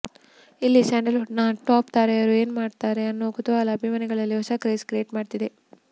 ಇಲ್ಲಿ ಸ್ಯಾಂಡಲ್ವುಡ್ ನ ಟಾಪ್ ತಾರೆಯರು ಏನ್ ಮಾಡ್ತಾರೆ ಅನ್ನೋ ಕುತೂಹಲ ಅಭಿಮಾನಿಗಳಲ್ಲಿ ಹೊಸ ಕ್ರೇಜ್ ಕ್ರಿಯೇಟ್ ಮಾಡ್ತಿದೆ